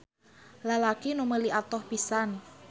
Lalaki nu meuli atoh pisan.